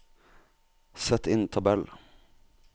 Sett inn tabell